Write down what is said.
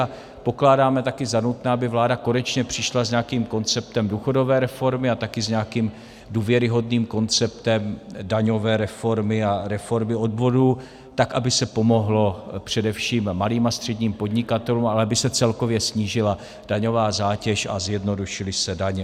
A pokládáme taky za nutné, aby vláda konečně přišla s nějakým konceptem důchodové reformy a taky s nějakým důvěryhodným konceptem daňové reformy a reformy odvodů, tak aby se pomohlo především malým a středním podnikatelům, ale aby se celkově snížila daňová zátěž a zjednodušily se daně.